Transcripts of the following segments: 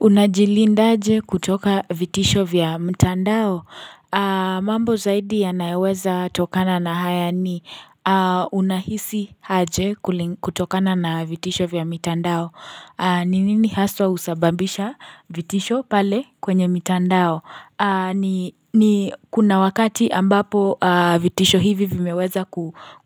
Unajilinda aje kutoka vitisho vya mtandao? Mambo zaidi ya yanayoweza tokana na haya ni unahisi aje kutokana na vitisho vya mtandao. Ninini haswa usababisha vitisho pale kwenye mtandao? Ni kuna wakati ambapo vitisho hivi vimeweza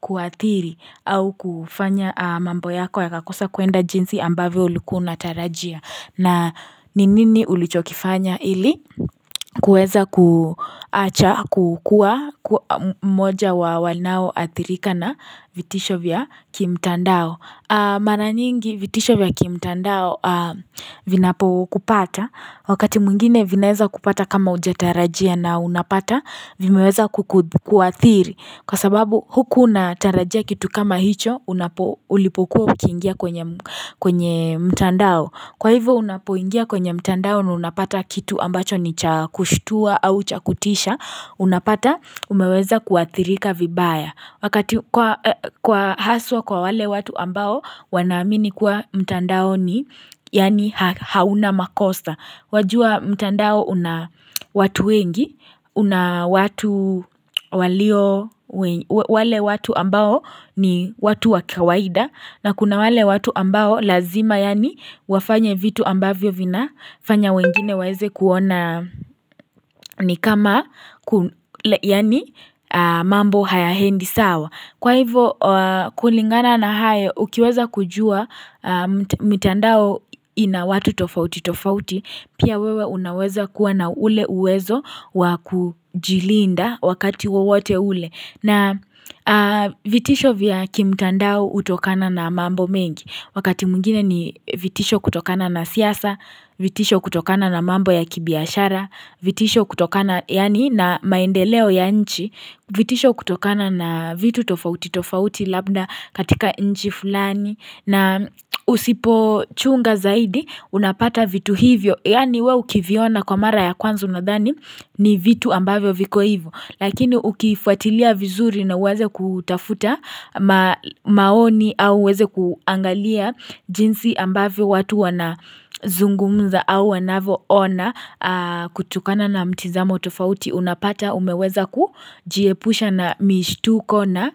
kuathiri au kufanya mambo yako ya ka kosa kwenda jinsi ambavyo ulikuwa unatarajia na ninini ulichokifanya ili kueza kukua moja wa wanao atirika na vitisho vya kimtandao Mara nyingi vitisho vya ki mtandao vinapo kupata Wakati mwingine vinaeza kupata kama ujatarajia na unapata Vimeweza kuathiri Kwa sababu huku unatarajia kitu kama hicho Unapo ulipokuwa ukiingia kwenye mtandao Kwahivo unapo ingia kwenye mtandao na unapata kitu ambacho ni chakushtua au chakutisha Unapata umeweza kuathirika vibaya wakati kwa haswa kwa wale watu ambao wanamini kuwa mtandao ni yaani hauna makosa wajua mtandao una watu wengi una watu walio wale watu ambao ni watu wakawaida na kuna wale watu ambao lazima yaani wafanye vitu ambavyo vina fanya wengine waeze kuona ni kama yani mambo hayahendi sawa Kwa hivo kulingana na hayo ukiweza kujua mitandao ina watu tofauti tofauti pia wewe unaweza kuwa na ule uwezo wakujilinda wakati uwote ule na vitisho vya kimtandao utokana na mambo mengi wakati mungine ni vitisho kutokana na siyasa, vitisho kutokana na mambo ya kibiashara, vitisho kutokana na maendeleo ya nchi vitisho kutokana na vitu tofauti, tofauti labda katika nji fulani na usipo chunga zaidi unapata vitu hivyo yani weu kiviona kwa mara ya kwanzu unadhani ni vitu ambavyo viko hivyo lakini ukifuatilia vizuri na uweze kutafuta maoni au uweze kuangalia jinsi ambavyo watu wana zungumza au wanavo ona kutokana na mtizamo tofauti unapata umeweza ku jiepusha na mishituko na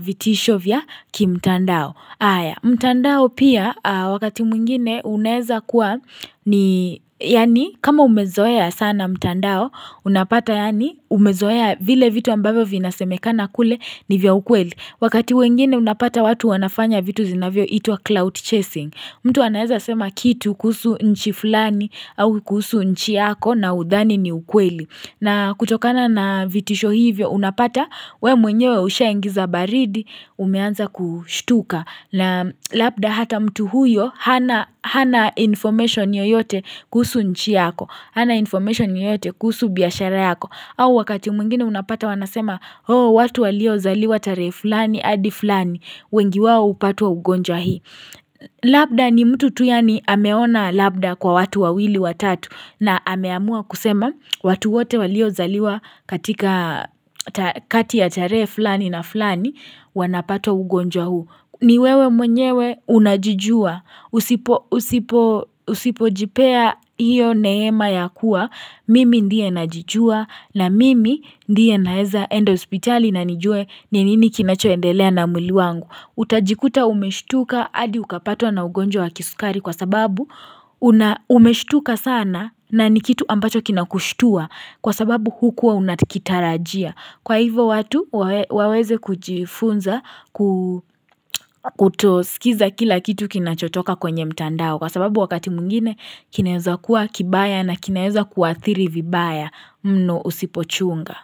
vitisho vya ki mtandao Aya mtandao pia wakati mwingine uneza kuwa ni yani kama umezoeya sana mtandao Unapata yani umezoya vile vitu ambavyo vinasemekana kule ni vya ukweli Wakati mwingine unapata watu wanafanya vitu zinavyo itua cloud chasing mtu wanaeza sema kitu kuhusu nchi fulani au kusu nchi yako na udhani ni ukweli. Na kutokana na vitisho hivyo unapata we mwenyewe usha ingiza baridi umeanza kushtuka. Na lapda hata mtu huyo hana information yoyote kusu nchi yako. Hana information yoyote kusu biyashara yako. Au wakati mwingine unapata wanasema oh watu walio zaliwa tare fulani adi fulani. Wengi wawo upatua ugonja hii. Labda ni mtu tuyani ameona labda kwa watu wawili watatu na ameamua kusema watu wote walio zaliwa katika kati ya tarehe flani na flani wanapato ugonjwa huu ni wewe mwenyewe unajijua usipo jipea hiyo neema ya kuwa mimi ndiye najijua na mimi ndiye naeza enda hospitali na nijue ninini kinachoendelea na mwili wangu utajikuta umeshtuka adi ukapatwa na ugonjwa wa kisukari kwa sababu umeshtuka sana na ni kitu ambacho kinakushtua kwa sababu hukuwa unakitarajia kwa hivyo watu waweze kujifunza kutosikiza kila kitu kinachotoka kwenye mtandao kwa sababu wakati mungine kineza kuwa kibaya na kineza kuathiri vibaya mnu usipochunga.